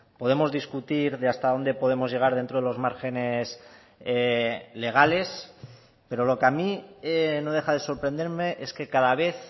podemos discutir de hasta dónde podemos llegar dentro de los márgenes legales pero lo que a mí no deja de sorprenderme es que cada vez